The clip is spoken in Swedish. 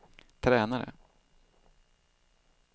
tränare